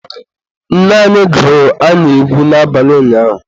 Nne anyị gụrụ anyị egwu n'abalị ụnyaahụ